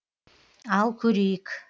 ал көрейік